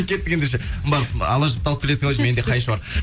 кеттік ендеше барып ала жіпті алып келесің ау менде қайшы бар